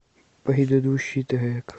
предыдущий трек